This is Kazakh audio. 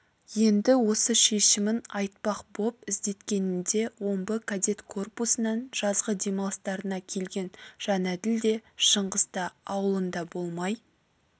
енді осы шешімін айтпақ боп іздеткенінде омбы кадет корпусынан жазғы демалыстарына келген жәнәділ де шыңғыс та аулында болмай